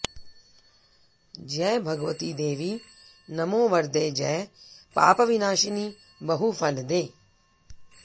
जय भगवति देवि नमो वरदे जय पापविनाशिनि बहुफलदे